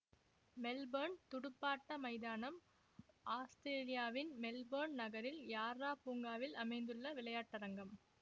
Melbourne துடுப்பாட்ட மைதானம் ஆஸ்திரேலியாவின் மெல்போர்ன் நகரில் யார்ரா பூங்காவில் அமைந்துள்ள விளையாட்டரங்கம்